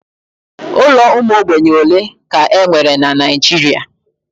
Ụlọ ụmụ ogbenye ole ka e nwere na Naijiria?